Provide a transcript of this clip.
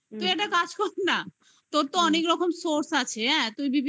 তুই একটা কাজ কর না. তোর তো অনেক রকম source আছে. হ্যা. তুই